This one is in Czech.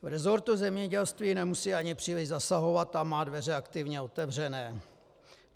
V resortu zemědělství nemusí ani příliš zasahovat, tam má dveře aktivně otevřené.